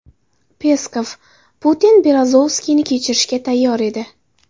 Peskov: Putin Berezovskiyni kechirishga tayyor edi.